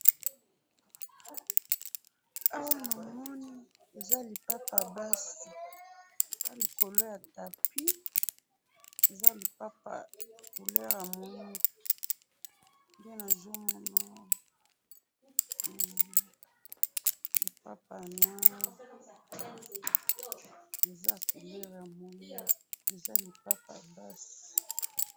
awa namoni, eza lipapa ya basi, eza likolo ya tapis, eza lipapa ya couleur ya moindu, nde nazo mona awa, lipapa ya noir, eza ya couleur ya moindo, eza lipapa ya basi